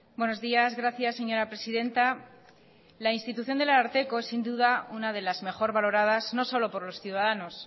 buenos días gracias señora presidenta la institución del ararteko es sin duda una de las mejor valoradas no solo por los ciudadanos